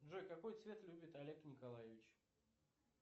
джой какой цвет любит олег николаевич